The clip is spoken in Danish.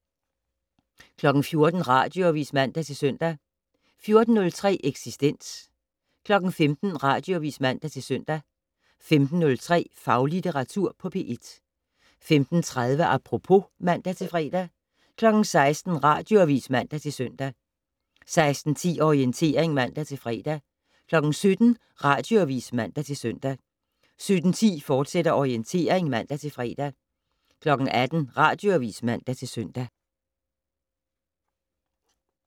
14:00: Radioavis (man-søn) 14:03: Eksistens 15:00: Radioavis (man-søn) 15:03: Faglitteratur på P1 15:30: Apropos (man-fre) 16:00: Radioavis (man-søn) 16:10: Orientering (man-fre) 17:00: Radioavis (man-søn) 17:10: Orientering, fortsat (man-fre) 18:00: Radioavis (man-søn)